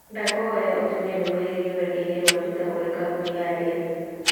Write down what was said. Ndakũhoya ũtũme ndũmĩrĩri rũrenda-inī rũa tũita kũrĩ kambuni ya dell